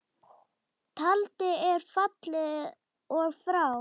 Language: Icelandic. Tjaldið er fallið og frá.